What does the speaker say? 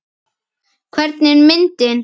Hvernig er myndin?